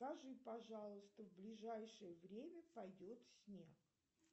скажи пожалуйста в ближайшее время пойдет снег